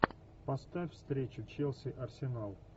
поставь встречу челси арсенал